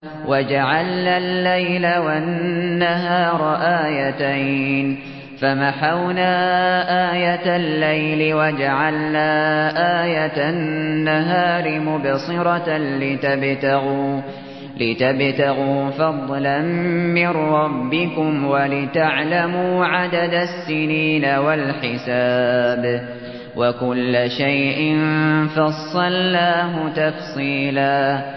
وَجَعَلْنَا اللَّيْلَ وَالنَّهَارَ آيَتَيْنِ ۖ فَمَحَوْنَا آيَةَ اللَّيْلِ وَجَعَلْنَا آيَةَ النَّهَارِ مُبْصِرَةً لِّتَبْتَغُوا فَضْلًا مِّن رَّبِّكُمْ وَلِتَعْلَمُوا عَدَدَ السِّنِينَ وَالْحِسَابَ ۚ وَكُلَّ شَيْءٍ فَصَّلْنَاهُ تَفْصِيلًا